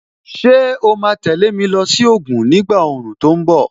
Ṣé o ma tẹ̀lé mi lọ sí Ògùn ni ìgbà òòrùn tó ń bọ̀?